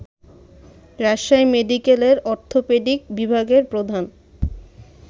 রাজশাহী মেডিকেলের অর্থোপেডিক বিভাগের প্রধান